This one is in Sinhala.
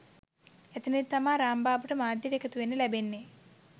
එතැනදි තමා රාම්බාබුට මාධ්‍යයට එකතුවෙන්න ලැබෙන්නෙ